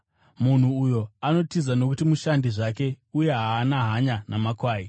Munhu uyu anotiza nokuti mushandi zvake uye haana hanya namakwai.